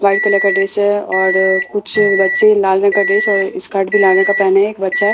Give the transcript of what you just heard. white colour का dress है और कुछ बच्चे लाल रंग का ड्रेस और स्कर्ट भी लाल रंग का पहने हैं एक बच्चा --